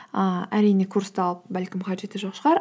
ііі әрине курсты алып бәлкім қажеті жоқ шығар